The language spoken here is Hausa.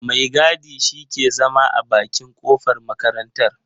Mai gadi shi ke zama a bakin kofar makarartar.